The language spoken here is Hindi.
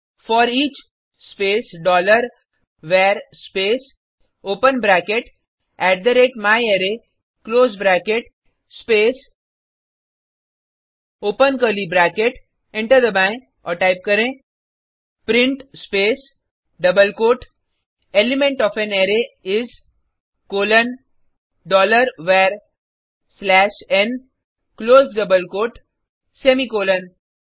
foreach space dollar var space open bracket at the rate my array close bracket space open curly bracket enter दबाएँ और टाइप करें print space double quote element O F A N array is colon dollar var slash n close double quote semicolon